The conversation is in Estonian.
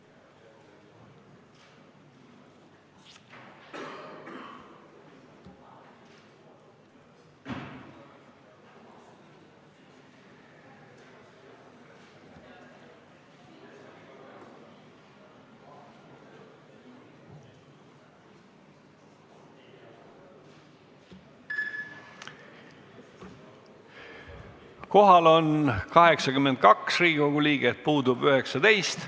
Kohaloleku kontroll Kohal on 82 Riigikogu liiget, puudub 19.